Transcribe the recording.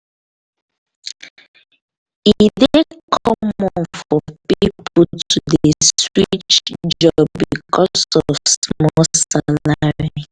e dey common for pipo to dey switch job because of small salary.